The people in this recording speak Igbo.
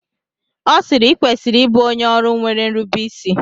Ọ sịịrị, i kwesịrị ịbụ onye ọrụ nwere nrubeisi!